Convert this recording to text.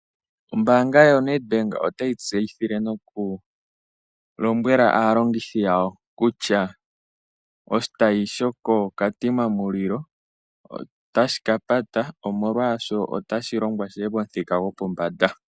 Ombaanga yoNedbank otayi tseyithile nokulombwela aalongithi yawo kutya oshitayi shokoKatima Mulilo otashi ka pata , omolwaashoka otashi longwa shiye pomuthika gopombanda .